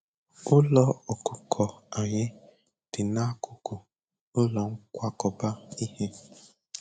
Ụlọ ọkụkọ anyị dị n'akụkụ ụlọ nkwakọba ihe.